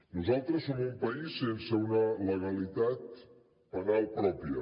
nosaltres som un país sense una legalitat penal pròpia